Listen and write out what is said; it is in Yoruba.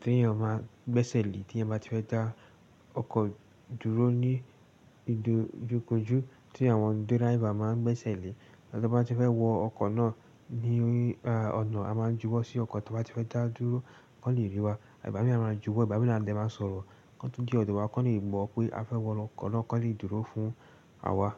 tí ènìyàn máa ń gbẹ́sẹ̀ lé tí ẹni bá ti fẹ́ dá ọkọ̀ dúró ní ìdojúkojú tí àwọn driver máa ń gbẹ́sẹ̀ lé. Ìgbà tí a bá ti fẹ́ wọ ọkọ̀ náà ní ọ̀nà, a máa ń juwọ́ sí ọkọ̀ tí a bá ti fẹ́ dá dúró, kó le rí wa. Ìgbá mi a máa juwọ́, Ìgbá mi ni a dẹ máa sọ̀rọ̀. Kọ́ to de ọ̀dọ̀ wa, kó le mọ̀ pé a fẹ́ wọ ọkọ̀ náà, kó le dúró fún àwa.